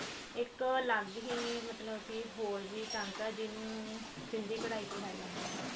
ਇੱਕ ਲੱਗ ਹੀ ਮਤਲਬ ਕੀ ਹੋਰ ਵੀ ਟਾਂਕਾ ਜਿਹਨੂੰ ਸਿੱਧੀ ਕਢਾਈ ਕਿਹਾ ਜਾਂਦਾ ਹੈ